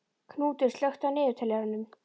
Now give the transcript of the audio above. Knútur, slökktu á niðurteljaranum.